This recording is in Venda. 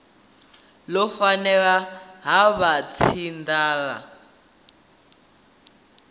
ḽo fhelela ha vha tshinanḓala